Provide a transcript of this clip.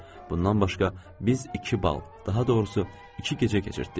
Bundan başqa biz iki bal, daha doğrusu iki gecə keçirtdik.